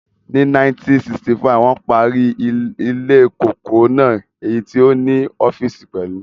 Ni 1965, wón parí ilée kòkó náà èyí tí ó ní ọ́físì pẹ̀lú